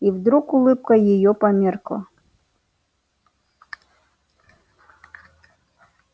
и вдруг улыбка её померкла